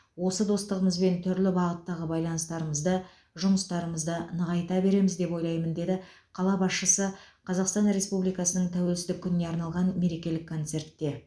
осы достығымызбен түрлі бағыттағы байланыстарымызды жұмыстарымызды нығайта береміз деп ойлаймын деді қала басшысы қазақстан республикасының тәуелсіздік күніне арналған мерекелік концертте